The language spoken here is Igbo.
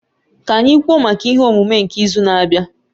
Ka anyị kwuo maka ihe omume nke izu na-abịa